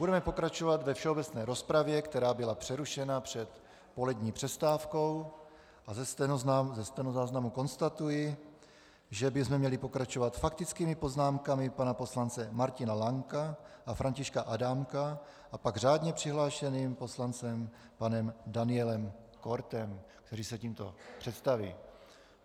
Budeme pokračovat ve všeobecné rozpravě, která byla přerušena před polední přestávkou, a ze stenozáznamu konstatuji, že bychom měli pokračovat faktickými poznámkami pana poslance Martina Lanka a Františka Adámka a pak řádně přihlášeným poslancem panem Danielem Kortem, kteří se tímto představí.